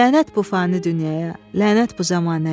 Lənət bu fani dünyaya, lənət bu zəmanəyə.